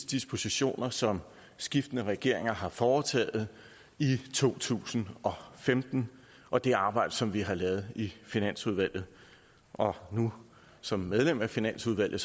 dispositioner som skiftende regeringer har foretaget i to tusind og femten og det arbejde som vi har lavet i finansudvalget og nu som medlem af finansudvalget